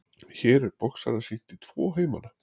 Hér er boxara sýnt í tvo heimana.